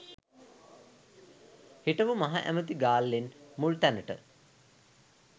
හිටපු මහ ඇමැති ගාල්ලෙන් මුල් තැනට